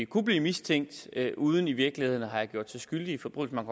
kunne blive mistænkt uden i virkeligheden at have gjort sig skyldige i forbrydelser man